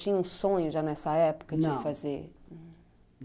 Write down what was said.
Tinha um sonho já nessa época, não, de fazer?